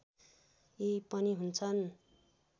यी पनि हुन्छन्